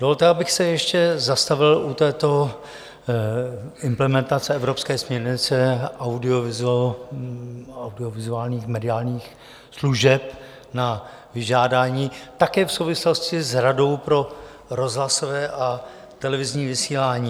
Dovolte, abych se ještě zastavil u této implementace evropské směrnice audiovizuálních mediálních služeb na vyžádání také v souvislosti s Radou pro rozhlasové a televizní vysílání.